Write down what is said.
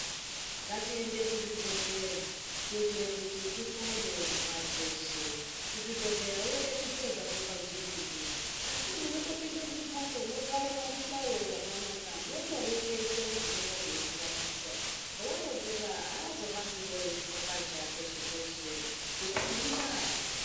Ngatiende kuzvibhedhlera kuitira kuti tipone kuzvibhehlera aureketi zviro zvako pajengende asi munotopinda mumbatso mogara pazvihlayo zvakanaka mondoreketa zvinenge zveimutambudza waronzera azohambi eizvipapazva peshe peshe ngekuti inda.